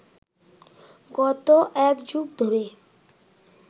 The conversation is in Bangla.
গত একযুগ ধরে